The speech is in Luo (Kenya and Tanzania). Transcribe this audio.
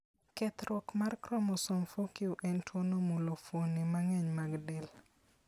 Kethruok mar chromosome 4q en tuwono mulo fuonde mang'eny mag del.